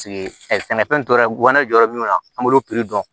sɛnɛfɛn tɔ yɛrɛ guwɛrin jɔra minnu na an b'olu piri dɔn